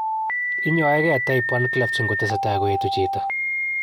inyoeken Type I clefts ingotesetai koyetu chito.